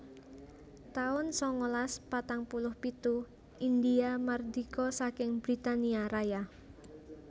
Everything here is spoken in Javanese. taun sangalas patang puluh pitu Indhia mardika saking Britania Raya